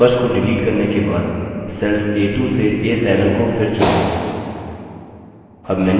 numbers को delete करने के बाद cells a2 to a7 को फिर चुनें